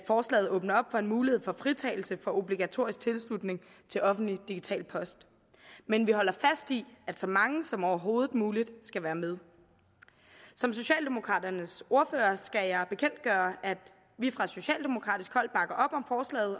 forslaget åbner for en mulighed for fritagelse for obligatorisk tilslutning til offentlig digital post men vi holder fast i at så mange som overhovedet muligt skal være med som socialdemokraternes ordfører skal jeg bekendtgøre at vi fra socialdemokratisk hold bakker